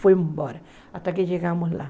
Fui embora, até que chegamos lá.